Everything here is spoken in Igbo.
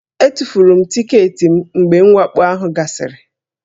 Etufuru m tiketi m mgbe mwakpo ahụ gasịrị